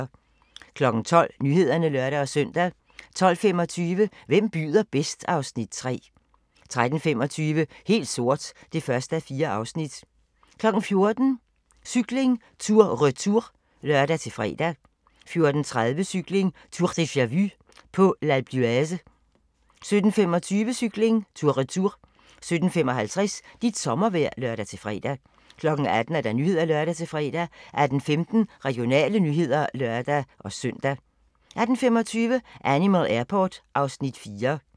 12:00: Nyhederne (lør-søn) 12:25: Hvem byder bedst? (Afs. 3) 13:25: Helt sort (1:4) 14:00: Cykling: Tour Retour (lør-fre) 14:30: Cykling: Tour deja-vu - på Alpe d'Huez 17:25: Cykling: Tour Retour 17:55: Dit sommervejr (lør-fre) 18:00: Nyhederne (lør-fre) 18:15: Regionale nyheder (lør-søn) 18:25: Animal Airport (Afs. 4)